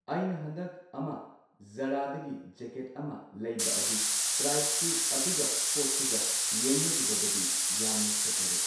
ꯑꯩꯅ ꯍꯟꯗꯛ ꯑꯃ ꯖꯥꯔꯥꯗꯒꯤ ꯖꯦꯀꯦꯠ ꯑꯃ ꯂꯩꯕ ꯑꯗꯨ ꯄ꯭ꯔꯥꯏꯁꯇꯨ ꯑꯗꯨꯒ ꯄꯣꯠꯇꯨꯒ ꯌꯦꯡꯅꯔꯨꯔꯕꯗꯤ ꯌꯥꯝꯅ ꯈꯦꯠꯅꯔꯦ꯫